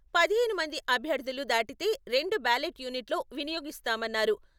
పదిహేను మంది అభ్యర్థులు దాటితే రెండు బ్యాలెట్ యూనిట్‌లు వినియోగిస్తామన్నారు.